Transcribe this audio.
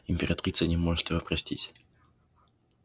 императрица не может его простить